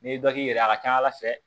N'i bɛ dɔ k'i yɛrɛ ye a ka ca ala fɛ